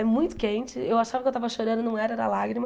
É muito quente, eu achava que eu estava chorando, não era, era lágrima.